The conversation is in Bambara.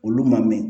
Olu ma mɛn